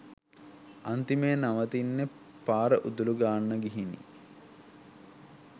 අන්තිමේ නවතින්නෙ පාර උදලු ගාන්න ගිහිනි.